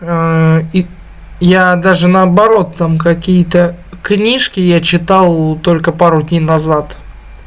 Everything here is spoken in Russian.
и я даже наоборот там какие-то книжки я читал только пару дней назад